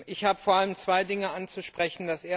Ich habe vor allem zwei Dinge anzusprechen.